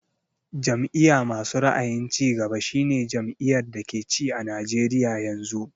Jam'iya masu ra'ayin cigaba shi ne jam'iyar da ke ci a Najeriya yanzu